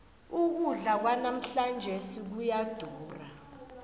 ukudla kwanamhlanjesi kuyadura